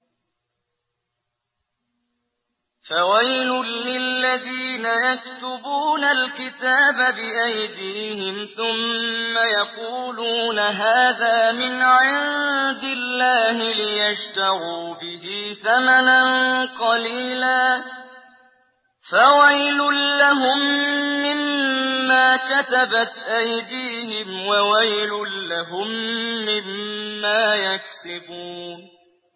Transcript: فَوَيْلٌ لِّلَّذِينَ يَكْتُبُونَ الْكِتَابَ بِأَيْدِيهِمْ ثُمَّ يَقُولُونَ هَٰذَا مِنْ عِندِ اللَّهِ لِيَشْتَرُوا بِهِ ثَمَنًا قَلِيلًا ۖ فَوَيْلٌ لَّهُم مِّمَّا كَتَبَتْ أَيْدِيهِمْ وَوَيْلٌ لَّهُم مِّمَّا يَكْسِبُونَ